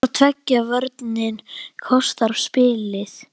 Hvor tveggja vörnin kostar spilið.